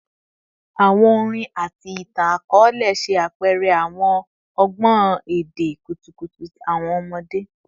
Awọn orin ati itan-akọọlẹ ṣe apẹrẹ awọn ọgbọn ede kutukutu ti awọn ọmọde